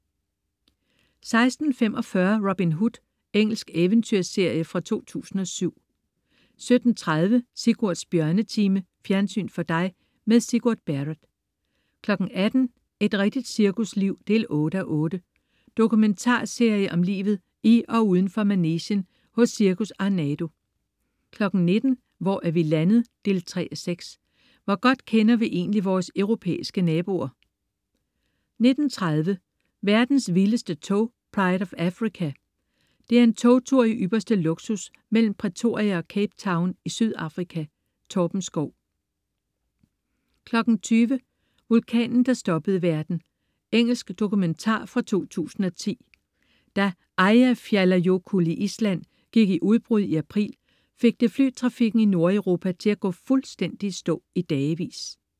16.45 Robin Hood. Engelsk eventyrserie fra 2007 17.30 Sigurds Bjørnetime. Fjernsyn for dig med Sigurd Barrett 18.00 Et rigtigt cirkusliv 8:8. Dokumentarserie om livet i og uden for manegen hos Cirkus Arnardo 19.00 Hvor er vi landet? 3:6. Hvor godt kender vi egentlig vores europæiske naboer? 19.30 Verdens vildeste tog. "Pride of Africa" er en togtur i ypperste luksus mellem Pretoria og Cape Town i Sydafrika. Torben Schou 20.00 Vulkanen, der stoppede verden. Engelsk dokumentar fra 2010. Da Eyjafjallajokull i Island gik i udbrud i april, fik det flytrafikken i Nordeuropa til at gå fuldstændig i stå i dagevis